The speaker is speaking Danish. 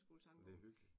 Det hyggeligt